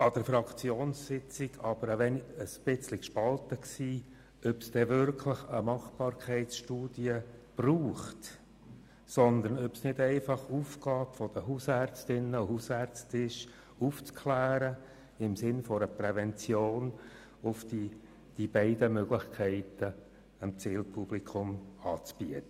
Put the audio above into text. An der Fraktionssitzung waren wir aber ein bisschen gespalten darüber, ob es wirklich eine Machbarkeitsstudie braucht, oder ob es nicht einfach Aufgabe der Hausärztinnen und Hausärzte wäre, über die beiden Möglichkeiten im Sinn einer Prävention aufzuklären und sie dem Zielpublikum anzubieten.